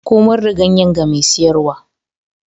Komar da ganye ga mai siyarwa.